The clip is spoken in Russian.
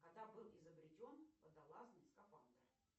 когда был изобретен водолазный скафандр